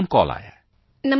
ਇੱਕ phone call ਆਇਆ ਹੈ